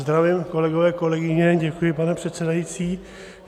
Zdravím, kolegyně, kolegové, děkuji pane předsedající.